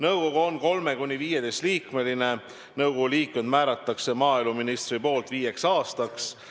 Nõukogu on 3–15-liikmeline, nõukogu liikmed määratakse maaeluministri poolt viieks aastaks.